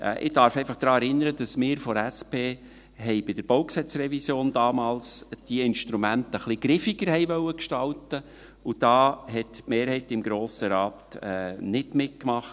Ich darf einfach daran erinnern, dass wir von der SP diese Instrumente damals bei der Revision des BauG ein wenig griffiger gestalten wollten, und da hat die Mehrheit des Grossen Rates nicht mitgemacht.